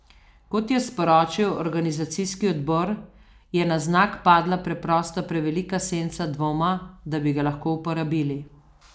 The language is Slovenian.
Kot je sporočil organizacijski odbor, je na znak padla preprosto prevelika senca dvoma, da bi ga lahko uporabili.